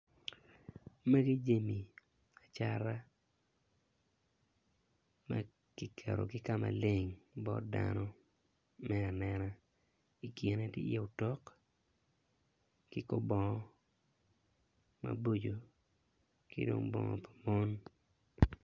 Magi jami acata makiketogi ka maleng bot dano me anena i kine tye i ye otok ki kor bongo maboco ki dong bongo mapol.